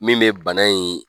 Min bɛ bana in